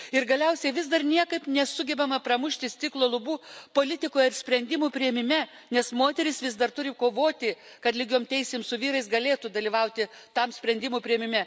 Ir galiausiai vis dar niekaip nesugebama pramušti stiklo lubų politikoje sprendimų priėmime, nes moteris vis dar turi kovoti, kad lygiomis teisėmis su vyrais galėtų dalyvauti tame sprendimų priėmime.